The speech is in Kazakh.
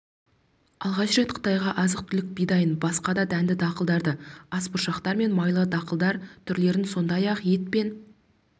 алғаш рет қытайға азық-түлік бидайын басқа да дәнді-дақылдарды асбұршақтар мен майлы дақылдар түрлерін сондай-ақ ет пен